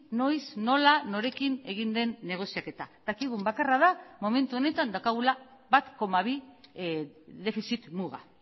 noiz nola norekin egin den negoziaketa dakigun bakarra da momentu honetan daukagula bat koma bi defizit muga